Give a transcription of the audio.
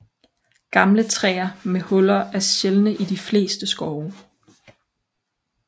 Gamle træer med huller er sjældne i de fleste skove